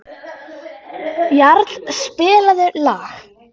Jarl, spilaðu lag.